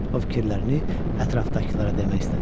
O fikirlərini ətrafdakılara demək istədi.